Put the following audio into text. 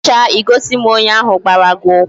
Emecha I gosi m onye ahu gbara gi ukwu